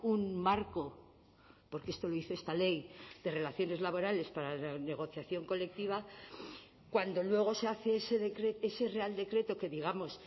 un marco porque esto lo dice esta ley de relaciones laborales para la negociación colectiva cuando luego se hace ese real decreto que digamos